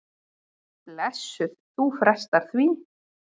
Blessuð, þú frestar því.